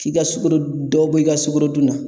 F'i ka sukaro dɔ bɔ i ka sukorodun na.